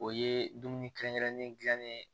O ye dumuni kɛrɛnkɛrɛnnen dilannen ye